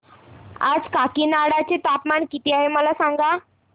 आज काकीनाडा चे तापमान किती आहे मला सांगा